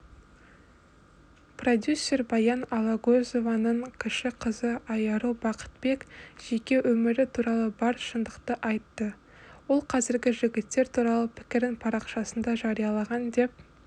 продюсер баян алагөзованың кіші қызы айару бақытбек жеке өмірі туралы бар шындықты айтты ол қазіргі жігіттер туралы пікірін парақшасында жариялаған деп